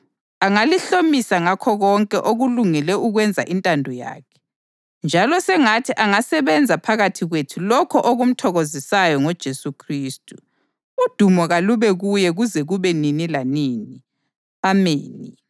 angalihlomisa ngakho konke okulungele ukwenza intando yakhe, njalo sengathi angasebenza phakathi kwethu lokho okumthokozisayo ngoJesu Khristu, udumo kalube kuye kuze kube nini lanini. Ameni.